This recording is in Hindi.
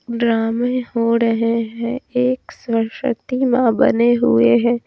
ड्रामे हो रहे हैं एक सरस्वती मां बने हुए हैं।